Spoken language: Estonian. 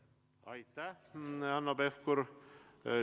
Aitäh, Hanno Pevkur!